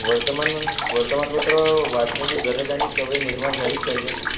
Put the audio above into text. वर्तमान म्हणजे वर्तमानपत्र वाचण्याची गरज आणि सवय निर्माण झालीच पाहिजे.